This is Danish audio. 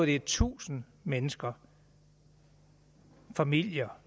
det er tusind mennesker familier